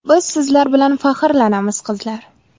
Biz sizlar bilan faxrlanamiz, qizlar!